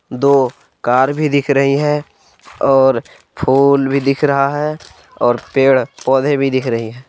दो कार भी दिख रही है और फूल भी दिख रहा है और पेड़ पौधे भी दिख रही है।